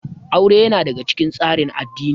Aure ya na daga cikin tsarin addini